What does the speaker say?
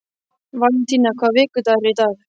Valentína, hvaða vikudagur er í dag?